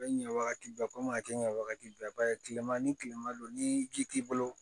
A bɛ ɲɛ wagati bɛɛ kɔmi a kɛ ɲɛ wagati bɛɛ ba ye tilema ni kilema don ni ji t'i bolo